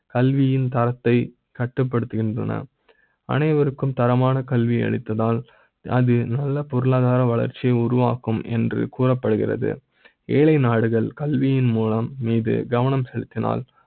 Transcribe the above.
கல்வி யின் தர த்தை கட்டுப்படுத்துகின்றன அனைவருக்கு ம் தரமான கல்வி அளித்தால் அது நல்ல பொருளாதார வளர்ச்சி யை உருவாக்கும் என்று கூற ப்படுகிறது ஏழை நாடுகள் கல்வி யின் மூலம் மீது கவனம் செலுத்தினால்